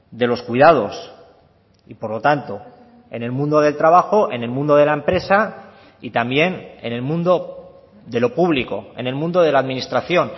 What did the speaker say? de los cuidados y por lo tanto en el mundo del trabajo en el mundo de la empresa y también en el mundo de lo público en el mundo de la administración